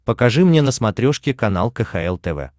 покажи мне на смотрешке канал кхл тв